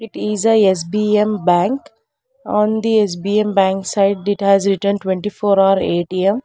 It is a S_B_M bank on the S_B_M side it has written twenty four hour A_T_M.